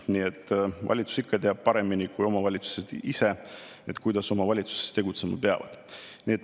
Nii et valitsus ikka teab paremini kui omavalitsused ise, kuidas omavalitsused tegutsema peavad.